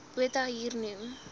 botha hier noem